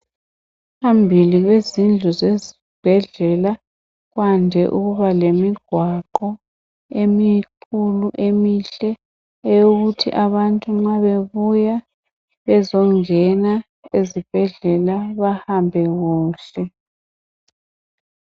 Phambili kwezindlu zezibhedlela kwande ukuba lemigwaqo emikhulu emihle eyokuthi abantu nxa bebuya bezo ngena ezibhedlela behambe kuhle.